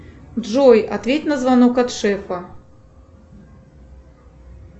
джой ответь на звонок от шефа